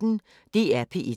DR P1